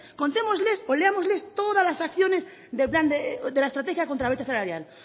contémosles o leámosles todas las acciones del plan de la estrategia contra la brecha salarial